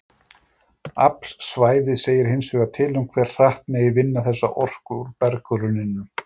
Afl svæðis segir hins vegar til um hve hratt megi vinna þessa orku úr berggrunninum.